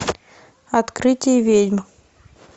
открытие ведьм